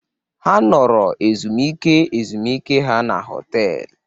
Ha nọrọ ezumike ezumike ha na họtel